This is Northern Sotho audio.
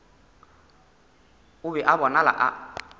o be a bonala a